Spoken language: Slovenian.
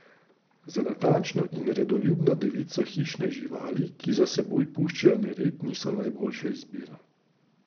Za natančno in redoljubno devico hišne živali, ki za seboj puščajo nered, niso najboljša izbira.